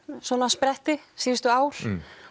spretti síðustu ár